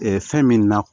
fɛn min na